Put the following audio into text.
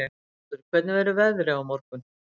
Haukur, hvernig verður veðrið á morgun?